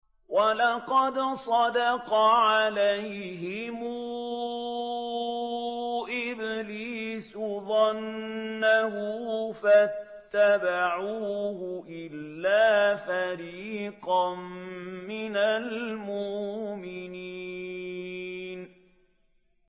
وَلَقَدْ صَدَّقَ عَلَيْهِمْ إِبْلِيسُ ظَنَّهُ فَاتَّبَعُوهُ إِلَّا فَرِيقًا مِّنَ الْمُؤْمِنِينَ